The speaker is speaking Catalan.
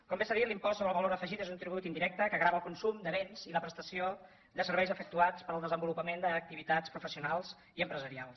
com bé s’ha dit l’impost sobre el valor afegit és un tribut indirecte que grava el consum de béns i la prestació de serveis efectuats per al desenvolupament d’activitats professionals i empresarials